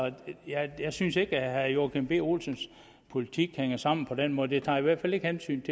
jeg synes ikke at herre joachim b olsens politik hænger sammen på den måde den tager hvert fald ikke hensyn